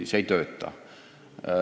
See ei toimi.